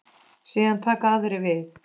Síðan taka aðrir við.